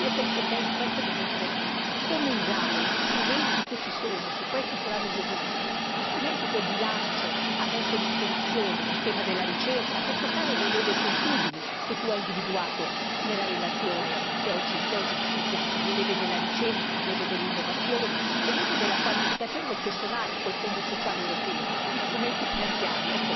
Penso che questo sia il momento della sfida dobbiamo stabilire come usare gli strumenti che ci sono, se questi saranno gli obiettivi, gli strumenti che il bilancio ha messo a disposizione, dal tema della ricerca, per toccare le leve sensibili individuate nella relazione che oggi discutiamo le leve della ricerca, le leve dell'innovazione, le leve della qualificazione del personale col Fondo sociale europeo, gli strumenti finanziari.